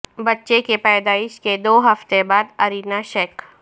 بچے کی پیدائش کے دو ہفتے بعد ارینا شیک